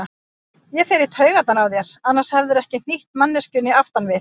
Ég fer í taugarnar á þér, annars hefðirðu ekki hnýtt manneskjunni aftan við.